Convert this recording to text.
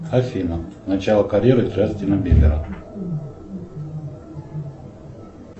афина начало карьеры джастина бибера